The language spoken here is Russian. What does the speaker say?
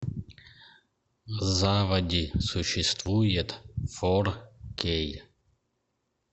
заводи существует фор кей